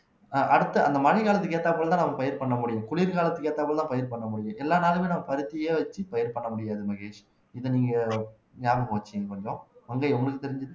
ஆஹ் அடுத்து அந்த மழை காலத்துக்கு ஏத்தாற்போலதான் நம்ம பயிர் பண்ண முடியும் குளிர்காலத்துக்கு ஏத்த மாதிரிதான் பயிர் பண்ண முடியும் எல்லா நாளுமே நம்ம பருத்தியா வச்சு பயிர் பண்ண முடியாது மகேஷ் இத நீங்க ஞாபகம் வெச்சுக்கோங்க கொஞ்சம் மங்கை உங்களுக்கு தெரிஞ்சது